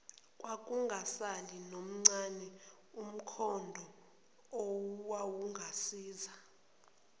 kwakungasali nomncane umkhondoowawungasiza